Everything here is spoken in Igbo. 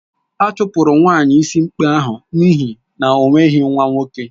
A chụpụrụ nwaanyị ịsị ikpe ahụ n'ihi na o nweghị nwa nwoke